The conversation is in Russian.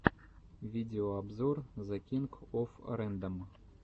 видеообзор зе кинг оф рэндом